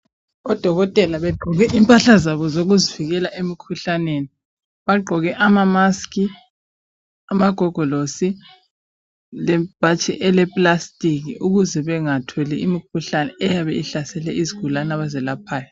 Odokotela begqoke impahla zabo zokuzivikela emikhuhlaneni bagqoke amamask, amagogolosi lebhatshi elepalstic ukuze bengatholi imikhuhlane eyabe ihlasele izigulane abazelaphayo.